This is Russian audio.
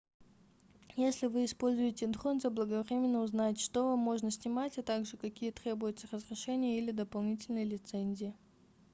если вы используете дрон заблаговременно узнайте что вам можно снимать а также какие требуются разрешения или дополнительные лицензии